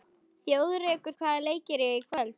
Þjóðrekur, hvaða leikir eru í kvöld?